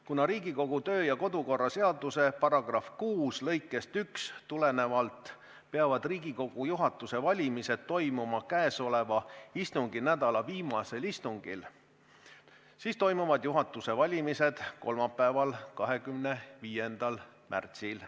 Kuna Riigikogu kodu- ja töökorra seaduse § 6 lõikest 1 tulenevalt peavad Riigikogu juhatuse valimised toimuma istunginädala viimasel istungil, siis toimuvad juhatuse valimised kolmapäeval, 25. märtsil.